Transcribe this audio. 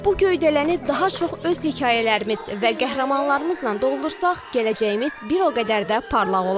Bu göydələni daha çox öz hekayələrimiz və qəhrəmanlarımızla doldursaq, gələcəyimiz bir o qədər də parlaq olar.